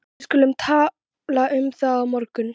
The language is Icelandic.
Við skulum tala um það á morgun